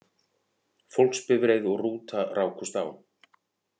Fólksbifreið og rúta rákust á